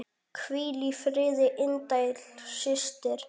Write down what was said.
Hvíl í friði indæl systir.